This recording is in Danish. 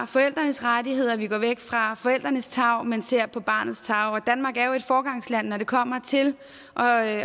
forældrenes rettigheder og vi går væk fra forældrenes tarv men ser på barnets tarv danmark er jo et foregangsland når det kommer til at